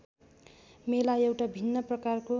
मेला एउटा भिन्न प्रकारको